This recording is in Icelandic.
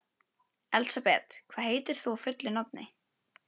Elsabet, hvað heitir þú fullu nafni?